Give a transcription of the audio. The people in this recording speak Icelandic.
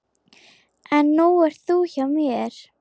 En nú ert þú hjá mér.